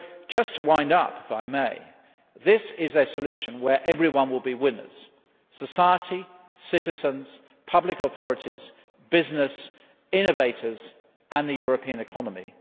Just to wind up, this is a solution where everyone will be winners society, citizens, public authorities, business, innovators and the European economy.